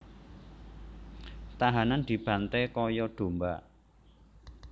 Tahanan dibanté kaya domba